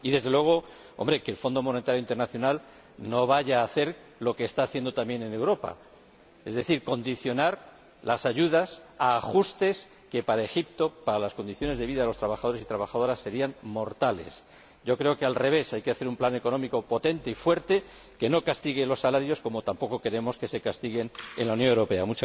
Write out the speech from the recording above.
Y, desde luego, esperamos que el Fondo Monetario Internacional no vaya a hacer lo que está haciendo también en Europa, es decir, condicionar las ayudas a ajustes que, para Egipto, para las condiciones de vida de los trabajadores y las trabajadoras, serían mortales. Al revés, yo creo que hay que elaborar un plan económico potente y fuerte que no castigue los salarios, como tampoco queremos que se castiguen en la Unión Europea.